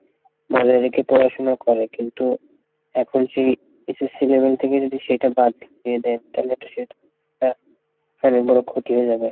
পড়াশোনা করে কিন্তু এখন সেই SSC level থেকে যদি সেইটা বাদ দিয়ে দেই তালে তো সেটা অনেক বড়ো ক্ষতি হয়ে যাবে,